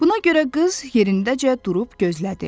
Buna görə qız yerindəcə durub gözlədi.